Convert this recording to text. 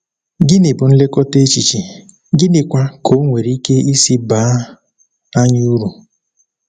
Gịnị bụ nlekọta echiche, gịnịkwa ka o nwere ike isi baa anyị uru?